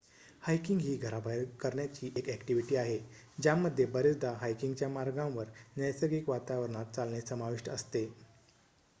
hiking ही घराबाहेर करण्याची एक ॲक्टिव्हिटी आहे ज्यामध्ये बरेचदा हायकिंगच्या मार्गांवर नैसर्गिक वातावरणात चालणे समाविष्ट असते